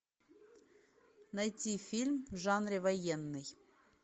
найти фильм в жанре военный